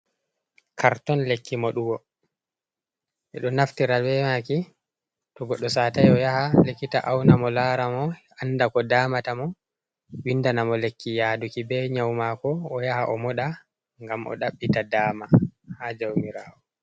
Karton lekki moɗugo, minɗo naftira be maki to goɗɗo satai o yaha likita auna mo, lara mo, anda ko damata mo, windana mo lekki yaduki be nyau mako, o yaha o moɗa ngam o ɗaɓɓita dama ha jaumirawo.